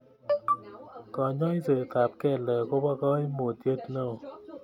Kanyoisetab kelek kobo kaimutiet neo